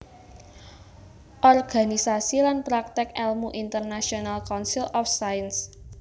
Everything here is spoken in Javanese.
Organisasi lan prakték èlmu International Council of Science